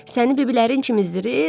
Səni biblərin çimizdirir.